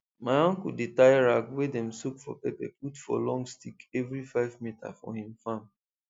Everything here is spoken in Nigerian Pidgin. my uncle dey tie rag wey dem soak for pepper put for long stick every five meter for him farm